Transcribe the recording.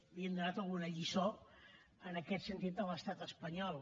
que havíem donat alguna lliçó en aquest sentit a l’estat espanyol